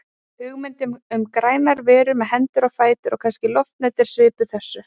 Hugmyndin um grænar verur með hendur og fætur og kannski loftnet er svipuð þessu.